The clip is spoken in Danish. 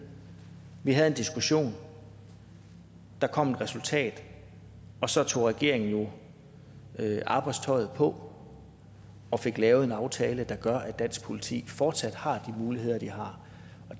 vi havde en diskussion der kom et resultat og så tog regeringen jo arbejdstøjet på og fik lavet en aftale der gør at dansk politi fortsat har de muligheder de har